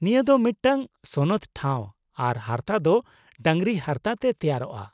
-ᱱᱤᱭᱟᱹ ᱫᱚ ᱢᱤᱫᱴᱟᱝ ᱥᱚᱱᱚᱛ ᱴᱷᱟᱶ ᱟᱨ ᱦᱟᱨᱛᱟ ᱫᱚ ᱰᱟᱹᱝᱨᱤ ᱦᱟᱨᱛᱟ ᱛᱮ ᱛᱮᱭᱟᱨᱚᱜᱼᱟ ᱾